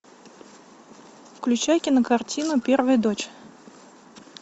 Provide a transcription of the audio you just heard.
включай кинокартину первая дочь